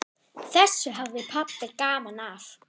Þessu hafði pabbi gaman af.